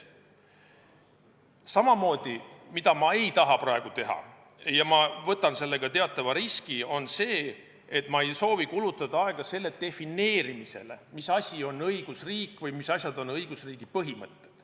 Samamoodi ma ei taha praegu – ja ma võtan sellega teatava riski – kulutada aega selle defineerimisele, mis asi on õigusriik või mis asjad on õigusriigi põhimõtted.